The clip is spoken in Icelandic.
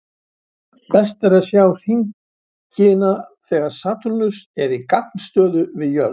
Best er að sjá hringina þegar Satúrnus er í gagnstöðu við jörð.